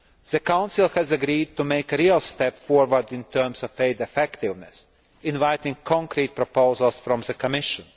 The Council has agreed to make a real step forward in terms of aid effectiveness, inviting concrete proposals from the Commission.